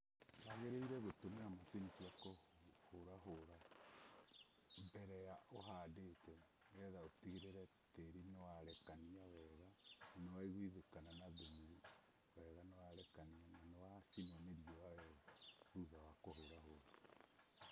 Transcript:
Wagĩrĩire gũtũmĩra macini cia kũhũra hũra mbere ya ũhandĩte nĩgetha ũtigĩrĩre tĩri nĩ warekania wega na waiguĩthĩkana na thumu wega na warekania na wacinwo nĩ riũ wega thutha wa kũhũra hũra.